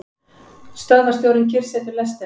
Stöðvarstjórinn kyrrsetur lestina.